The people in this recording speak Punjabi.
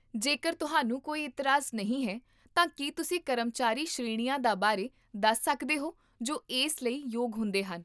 ਜੇਕਰ ਤੁਹਾਨੂੰ ਕੋਈ ਇਤਰਾਜ਼ ਨਹੀਂ ਹੈ, ਤਾਂ ਕੀ ਤੁਸੀਂ ਕਰਮਚਾਰੀ ਸ਼੍ਰੇਣੀਆਂ ਦਾ ਬਾਰੇ ਦੱਸ ਸਕਦੇ ਹੋ ਜੋ ਇਸ ਲਈ ਯੋਗ ਹੁੰਦੇ ਹਨ?